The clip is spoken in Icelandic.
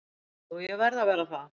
Jú ég verð að vera það.